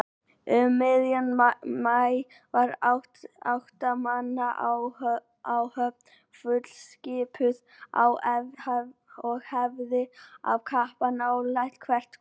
Um miðjan maí var átta manna áhöfn fullskipuð og æfði af kappi nálega hvert kvöld.